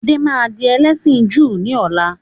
Adé máa di ẹlẹ́sìn Júù ni ọ̀la.